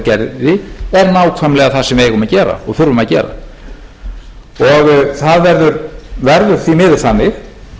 gerði er nákvæmlega það sem við eigum að gera og þurfum að gera og það verður því miður þannig